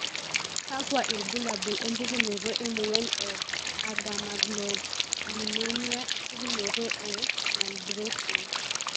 kakwa ilbulabul opukunoto emoyian e Agammaglobulinemia, pukunoto e non Bruton?